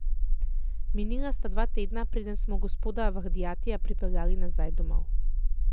Minila sta dva tedna, preden smo gospoda Vahdatija pripeljali nazaj domov.